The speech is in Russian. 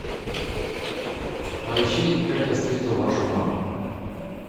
поищи как я встретил вашу маму